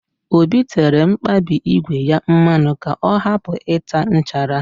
Obi tere mkpabi ígwè ya mmanụ ka ọ hapụ ịta nchara